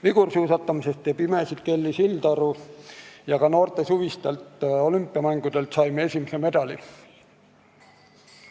Vigursuusatamises teeb imesid Kelly Sildaru ja ka noorte suvistelt olümpiamängudelt saime esimese medali.